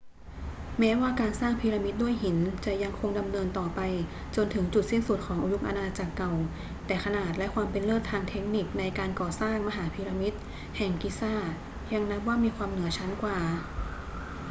แม้ว่าการสร้างพีระมิดด้วยหินจะยังคงดำเนินต่อไปจนถึงจุดสิ้นสุดของยุคอาณาจักรเก่า แต่ขนาดและความเป็นเลิศทางเทคนิคในการก่อสร้างมหาพีระมิดแห่งกิซายังนับว่ามีความเหนือชั้นกว่า